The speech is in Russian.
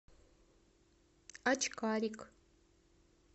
очкарик